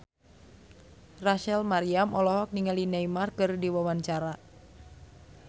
Rachel Maryam olohok ningali Neymar keur diwawancara